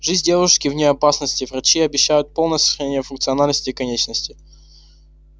жизнь девушки вне опасности врачи обещают полное сохранение функциональности конечности